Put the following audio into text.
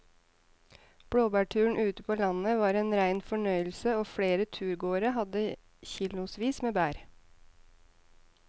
Blåbærturen ute på landet var en rein fornøyelse og flere av turgåerene hadde kilosvis med bær.